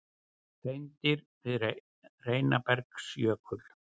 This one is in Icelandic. Hreindýr við Heinabergsjökul.